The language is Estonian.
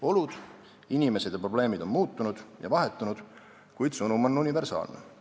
Olud, inimesed ja probleemid on muutunud ja vahetunud, kuid sõnum on universaalne.